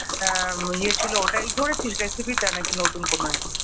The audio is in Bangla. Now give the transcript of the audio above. আ ইয়েছিল ওটাই ছিল রেসিপিটা না নতুন কিছু?